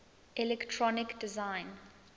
electronic design